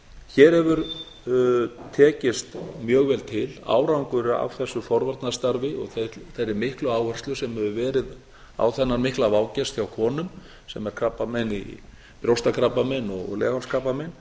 hér hefur tekist mjög vel til árangur af þessu forvarnastarf og þeirri miklu áherslu sem hefur verið á þennan mikla vágest hjá konum sem er brjóstakrabbamein og leghálskrabbamein